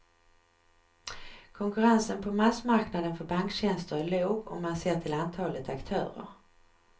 Konkurrensen på massmarknaden för banktjänster är låg om man ser till antalet aktörer.